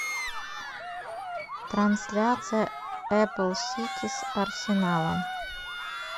трансляция апл сити с арсенала